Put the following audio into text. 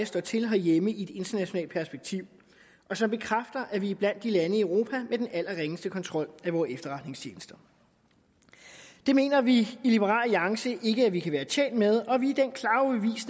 står til herhjemme i et internationalt perspektiv og som bekræfter at vi er blandt de lande i europa med den allerringeste kontrol af vore efterretningstjenester det mener vi i liberal alliance ikke at vi kan være tjent med og vi